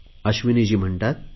अश्विनीजी म्हणतात